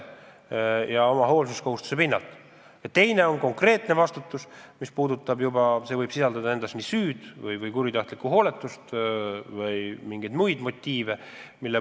Ja teine on konkreetne vastutus, mille puhul võib tegu olla süü, kuritahtliku hooletuse või veel millegi muuga.